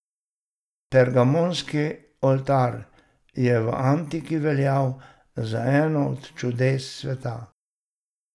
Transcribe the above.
Pergamonski oltar je v antiki veljal za eno od čudes sveta.